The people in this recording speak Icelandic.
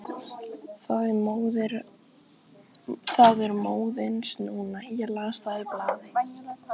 Það er móðins núna, ég las það í blaði.